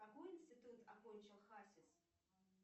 какой институт окончил хасис